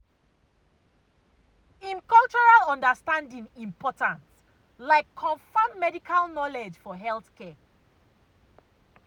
em cultural understanding important like confam medical knowledge for healthcare.